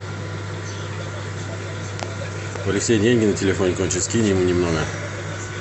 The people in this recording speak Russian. у алексея деньги на телефоне кончились кинь ему немного